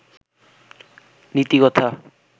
নীতিকথা